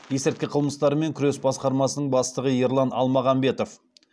есірткі қылмыстарымен күрес басқармасының бастығы ерлан алмағамбетов